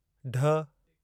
ढ